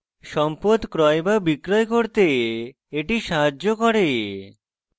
সম্পদ ক্রয় বা বিক্রয় করতে এটি সাহায্য করে